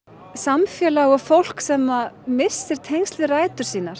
samfélag og fólk sem missir tengsl við rætur sínar